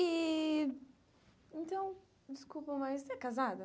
E, então, desculpa, mas você é casada?